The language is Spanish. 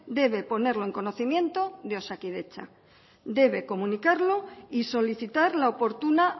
debe ponerlo en conocimiento de osakidetza debe comunicarlo y solicitar la oportuna